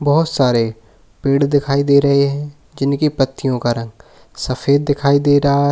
बोहोत सारे पेड़ दिखाई दे रहे हैं किनकी पत्तियों का रंग सफेद दिखाई दे रहा है।